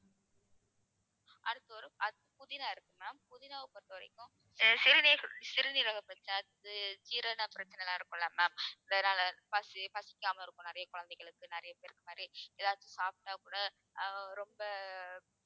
அடுத்து ஒரு புதினா இருக்கு ma'am புதினாவை பொறுத்தவரைக்கும் சிறுநீர~ சிறுநீரக பிரச்சனை ஜீரண பிரச்சனை எல்லாம் இருக்குல்ல ma'am பசி பசிக்காம இருக்கும் நிறைய குழந்தைகளுக்கு நிறைய பேருக்கு எதாச்சும் சாப்பிட்டா கூட ஆஹ் ரொம்ப